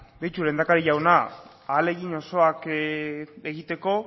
ba beitu lehendakari jauna ahalegin osoak egiteko